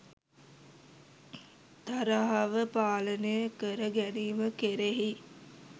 තරහව පාලනය කර ගැනීම කෙරෙහි